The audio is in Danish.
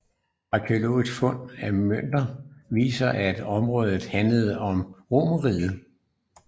Arkæologiske fund af mønter viser at området handlede med Romerriget